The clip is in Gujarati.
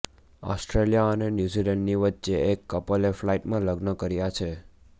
ઓસ્ટ્રેલિયા અને ન્યૂ ઝીલેન્ડની વચ્ચે એક કપલે ફ્લાઈટમાં લગ્ન કર્યા છે